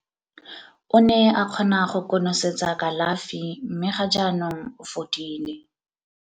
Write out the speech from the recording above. O ne a kgona go konosetsa kalafi mme ga jaanong o fodile.